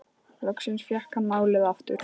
Loksins fékk hann málið aftur.